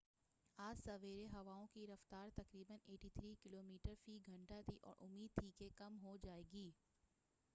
آج سویرے ہوائؤں کی رفتار تقریباً 83 کلومیٹر فی گھنٹہ تھی اور امید تھی کہ کم ہو جائے گی